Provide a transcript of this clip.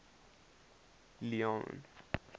leone